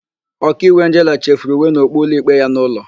Ọkaiwu Angela chefuru uwe na okpu ụlọikpe ya n'ụlọ.